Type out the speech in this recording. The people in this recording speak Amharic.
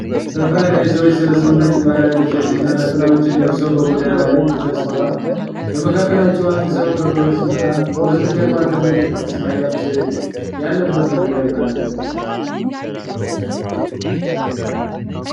ሰፋ ያለ የሰዎች ስብስብ ነጭ ባህላዊ ልብሶችንና ነጠላዎችን ለብሰው በጎዳና ላይ ተሰብስበዋል። በመካከላቸው አንድ ሰው ከበሮ ሲመታ፣ ከበስተጀርባ ትልቅ የቅድስት ማርያም ሥዕል ያለበት መድረክ አለ።